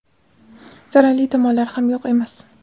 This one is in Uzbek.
zararli tomonlari ham yo‘q emas.